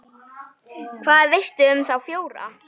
Hvað veistu um þá fjóra?